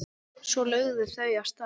Svo lögðu þau af stað.